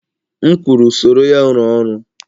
M kwuru, soro ya rụọ ọrụ!